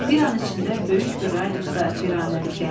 Bir an içində böyük bir radiusda viranəlik yarandı.